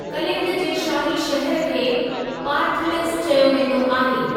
कलिंग जे शाही शहरु खे पार्थलिस चयो वेंदो आहे।